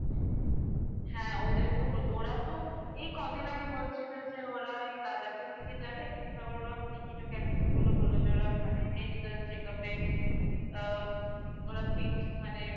হ্যাঁ ওদেরকেও বলব ওরা তো এই কদিন আগে বলছিল যে ওরা এই Ladakh এর দিকে যাবে কিন্তু আবার ওরা ticket ও cancel করলো বলল যে ওরা মানে medical checkup এ আ ওরা fit মানে